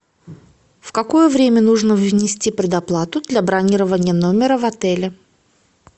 в какое время нужно внести предоплату для бронирования номера в отеле